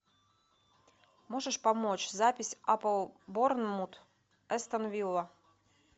можешь помочь запись апл борнмут астон вилла